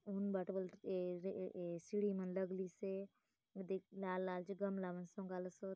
उन बाटे बले ए-ए सिसीढ़ी मन लगलीसे एदे लाल-लाल जो गमला मान सोंगालोसोत।